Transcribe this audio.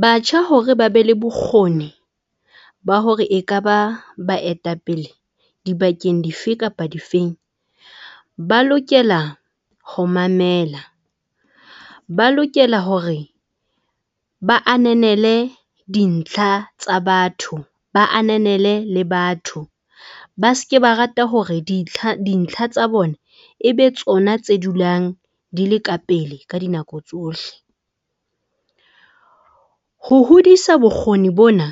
Batjha, hore ba be le bokgoni ba hore e ka ba baetapele dibakeng dife kapa difeng, ba lokela ho mamela, ba lokela hore ba ananele dintlha tsa batho, ba ananele le batho ba seke ba rata hore dintlha tsa bona e be tsona tse dulang di le ka pele ka dinako tsohle. Ho hodisa bokgoni bona